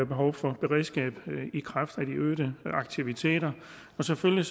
behov for et beredskab i kraft af de øgede aktiviteter og selvfølgelig